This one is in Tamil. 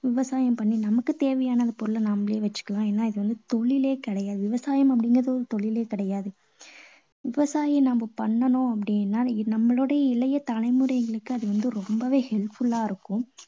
விவசாயம் பண்ணி நமக்கு தேவையான பொருளை நாமளே வச்சுக்கலாம். ஏன்னா இது ஒரு தொழிலே கிடையாது. விவசாயம் அப்படீங்கறது ஒரு தொழிலே கிடையாது. விவசாயம் நாம பண்ணணும் அப்படீன்னா, இது நம்மளோட இளைய தலைமுறைகளுக்கு அது வந்து ரொம்பவே helpful லா இருக்கும்.